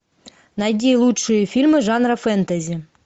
найди лучшие фильмы жанра фэнтези